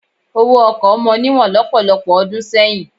Owó ọkọ̀ mọ níwọ̀n lọ́pọ̀lọpọ̀ ọdún sẹ́yìn.